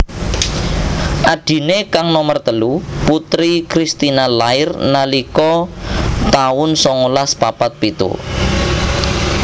Adhiné kang nomer telu Putri Christina lair nalika taun songolas papat pitu